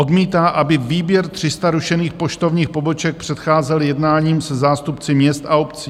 Odmítá, aby výběr 300 rušených poštovních poboček předcházel jednáním se zástupci měst a obcí.